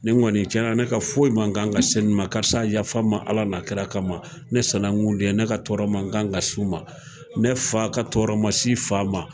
Nin kɔni cɛnna ne ka foyi ma kan ka s'a ma, karisa yafa n ma ala n'a kira kama, ne sanankun don, ne ka tɔɔrɔ ma kan ka s'u ma ,ne fa ka tɔɔrɔ ma s'i fa ma.